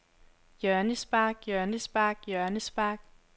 hjørnespark hjørnespark hjørnespark